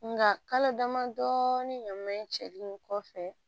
Nga kalo damadɔ ɲaman in cɛli in kɔfɛ